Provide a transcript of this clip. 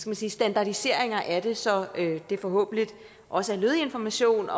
man sige standardiseringer af det så det forhåbentlig også er lødig information